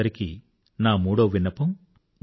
మీ అందరితో నా మూడవ విన్నపం